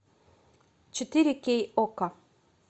четыре кей окко